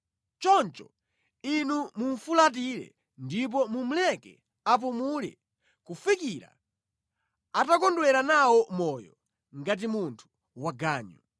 Choncho Inu mumufulatire ndipo mumuleke apumule kufikira atakondwera nawo moyo ngati munthu waganyu.